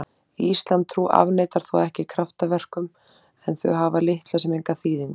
Íslamstrú afneitar þó ekki kraftaverkum en þau hafa litla sem enga þýðingu.